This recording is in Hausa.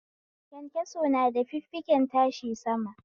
Kyankyaso na da fiffiken tashi sama